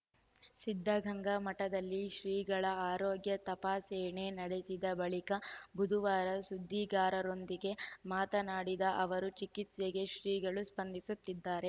ಸಿದ್ಧಗಂಗಾ ಮಠದಲ್ಲಿ ಶ್ರೀಗಳ ಆರೋಗ್ಯ ತಪಾಸೆಣೆ ನಡೆಸಿದ ಬಳಿಕ ಬುಧವಾರ ಸುದ್ದಿಗಾರರೊಂದಿಗೆ ಮಾತನಾಡಿದ ಅವರು ಚಿಕಿತ್ಸೆಗೆ ಶ್ರೀಗಳು ಸ್ಪಂದಿಸುತ್ತಿದ್ದಾರೆ